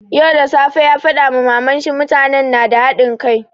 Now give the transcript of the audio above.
Yau da safe ya faɗa ma maman shi, mutanen nada hadin kai.